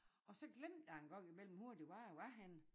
Og så glemte jeg engang i mellem hvor det var jeg var henne